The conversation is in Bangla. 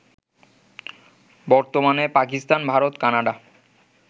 বর্তমানে পাকিস্তান, ভারত, কানাডা